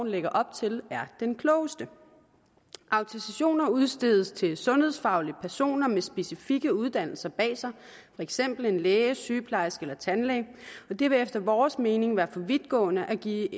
lægger op til er den klogeste autorisationer udstedes til sundhedsfaglige personer med specifikke uddannelser bag sig for eksempel læger sygeplejersker eller tandlæger og det vil efter vores mening være for vidtgående at give